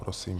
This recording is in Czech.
Prosím.